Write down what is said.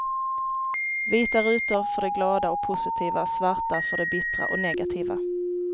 Vita rutor för det glada och positiva, svarta för det bittra och negativa.